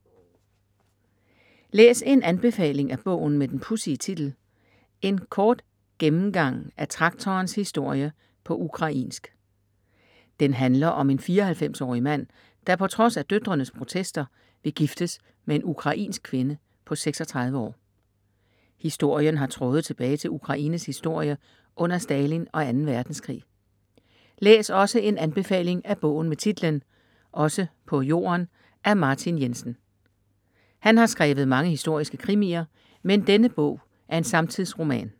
Læs en anbefaling af bogen med den pudsige titel: En kort gennemgang af traktorens historie på ukrainsk. Den handler om en 94-årig mand der, på trods af døtrenes protester, vil giftes med en ukrainsk kvinde på 36 år. Historien har tråde tilbage til Ukraines historie under Stalin og 2. verdenskrig. Læs også en anbefaling af bogen med titlen Også på jorden af Martin Jensen. Han har skrevet mange historiske krimier, men denne bog er en samtidsroman.